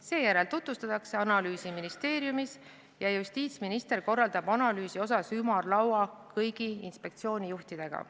Seejärel tutvustatakse analüüsi ministeeriumis ja justiitsminister korraldab analüüsi teemal ümarlaua kõigi inspektsioonijuhtidega.